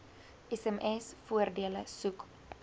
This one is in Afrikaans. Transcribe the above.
sms voordele soek